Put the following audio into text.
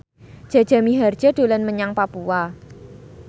Jaja Mihardja dolan menyang Papua